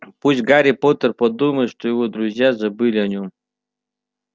пусть гарри поттер подумает что его друзья забыли о нём